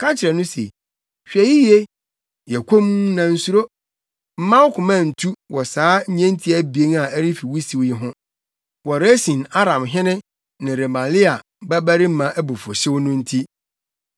Ka kyerɛ no se, ‘Hwɛ yiye, yɛ komm na nsuro. Mma wo koma ntu wɔ saa nnyentia abien a ɛrefi wusiw yi ho; wɔ Resin Aramhene ne Remalia babarima abufuwhyew no nti.